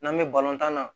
N'an bɛ balontan na